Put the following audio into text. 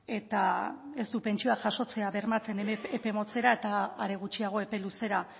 eta ez du pentsioak jasotzea bermatzen epe motzera eta are gutxiago epe luzera